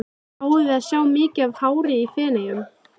Fáum við að sjá mikið af hári í Feneyjum?